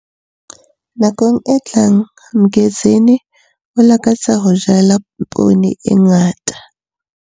Nakong e tlang Mgezeni o lakatsa ho jala ponne e ngata.